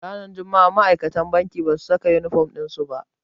Ranar juma'a ma'aikatan bankin basu saka inifom ɗin su ba.